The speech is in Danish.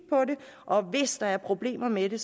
og hvis der er problemer med det